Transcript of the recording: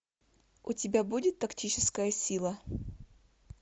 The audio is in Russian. у тебя будет тактическая сила